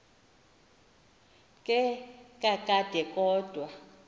ke kakade kodwa